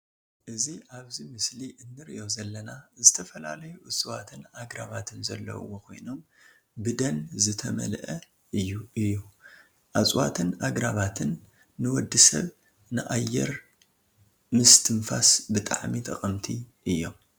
እዚ ኣብዚ ምስሊ እንርእዮ ዘለና ዝተፈላለዩ እፅዋትን ኣግራባትን ዘለውዎ ኮይኖም ብደን ዝተመልኡ እዩም። እፅዋትን ኣግራባትን ን ውድሰብ ን ኣየር ምስትንፋስ ብጣዕሚ ጠቀምቲ እዩም።